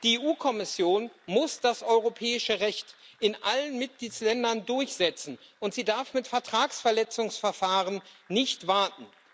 Die EU Kommission muss das europäische Recht in allen Mitgliedstaaten durchsetzen, und sie darf mit Vertragsverletzungsverfahren nicht warten.